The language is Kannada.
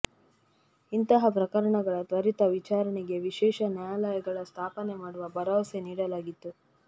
ಇಂತಹ ಪ್ರಕರಣಗಳ ತ್ವರಿತ ವಿಚಾರಣೆಗೆ ವಿಶೇಷ ನ್ಯಾಯಾಲಯಗಳ ಸ್ಥಾಪನೆ ಮಾಡುವ ಭರವಸೆ ನೀಡಲಾಗಿತ್ತು